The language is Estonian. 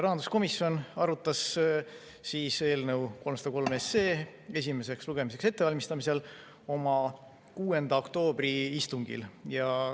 Rahanduskomisjon arutas eelnõu 303 esimeseks lugemiseks ettevalmistamisel oma 6. oktoobri istungil.